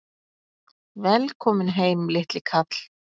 Velkominn heim, litli kall!